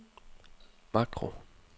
makro